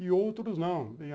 E outros não.